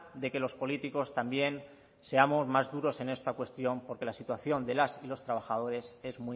de que los políticos también seamos más duros en esta cuestión porque la situación de las y los trabajadores es